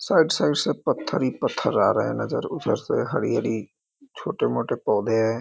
side side से पथर ही पथर आ रहे हैं नजर उधर से हरियाली छोटे-मोटे पौधे --